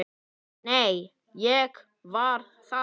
Nei, ég var þar